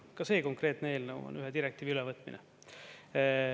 Ka see konkreetne eelnõu on ühe direktiivi ülevõtmine.